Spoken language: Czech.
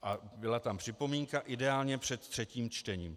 A byla tam připomínka - ideálně před třetím čtením.